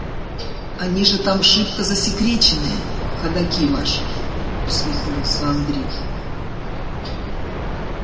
они же там шибко засекреченные ходоки ваши усмехнулся андрей